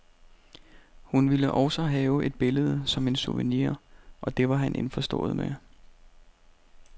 Hun ville også have et billede som en souvenir, og det var han indforstået med.